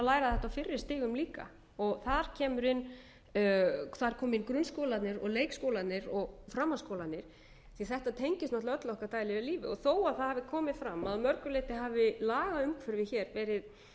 læra þetta á fyrri stigum líka þar kemur inn hvar komi inn grunnskólarnir og leikskólarnir og framhaldsskólarnir því þetta tengist náttúrlega öllu okkar daglega lífi þó það hafi komið fram að mörgu leyti hafi lagaumhverfi hér verið